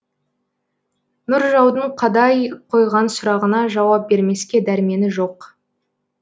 нұржаудың қадай қойған сұрағына жауап бермеске дәрмені жоқ